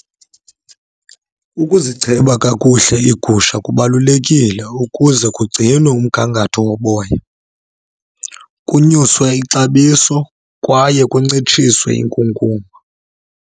Ukuzicheba kakuhle iigusha kubalulekile ukuze kugcinwe umgangatho woboya, kunyuswe ixabiso kwaye kuncitshiswe inkunkuma.